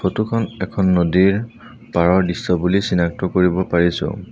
Photo খন এখন নদীৰ পাৰৰ দৃশ্য বুলি চিনাক্ত কৰিব পৰিছোঁ।